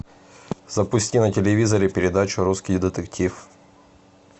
запусти на телевизоре передачу русский детектив